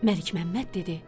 Məlikməmməd dedi: